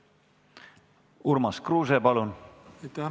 Urmas Kruuse, palun!